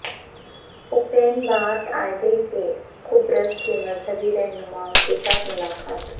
ایپین Barth Eide کی قبرص کے مذہبی رہنماوں کیساتھ ملاقات